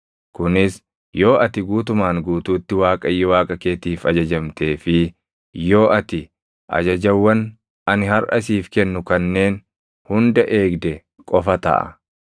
kunis yoo ati guutumaan guutuutti Waaqayyo Waaqa keetiif ajajamtee fi yoo ati ajajawwan ani harʼa siif kennu kanneen hunda eegde qofa taʼa.